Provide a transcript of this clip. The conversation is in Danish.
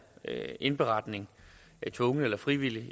indberetning tvunget eller frivilligt